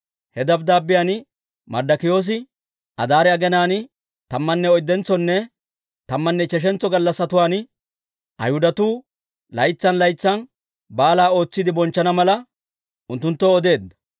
He dabddaabbiyaan Marddokiyoosi Adaare aginaan tammanne oyddentsonne tammanne ichcheshantso gallassatuwaa, Ayhudatuu laytsan laytsan baala ootsiide bonchchana mala, unttunttoo odeedda.